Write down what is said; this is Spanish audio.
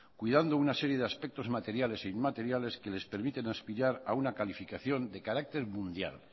cuidando una serie de aspectos materiales e inmateriales que les permiten aspirar a una calificación de carácter mundial